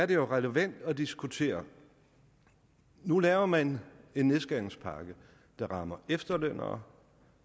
det jo er relevant at diskutere nu laver man en nedskæringspakke der rammer efterlønnere